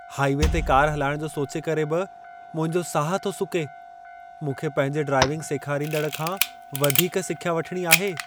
Highway ते car हलाइण जो सोचे करे बि मुंहिंजो साहु थो सुके। मूंखे पंहिंजे ड्राइविंग सेखारींदड़ खां वधीक सिख्या वठिणी आहे।